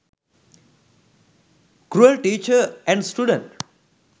cruel teacher and student